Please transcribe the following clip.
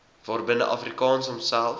waarbinne afrikaans homself